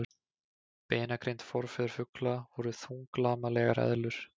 Beinagrind Forfeður fugla voru þunglamalegar eðlur.